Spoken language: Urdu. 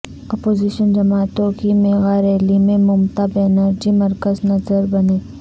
اپوزیشن جماعتوں کی میگاریلی میں ممتا بنرجی مرکز نظربنیں